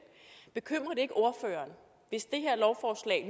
bekymrer det ikke ordføreren hvis det her lovforslag